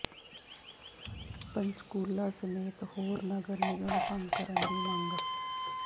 ਪੰਚਕੂਲਾ ਸਮੇਤ ਹੋਰ ਨਗਰ ਨਿਗਮ ਭੰਗ ਕਰਨ ਦੀ ਮੰਗ